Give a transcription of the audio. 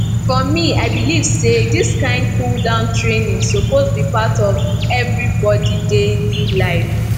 for me i believe say this kind cooldown training suppose be part of everybody daily life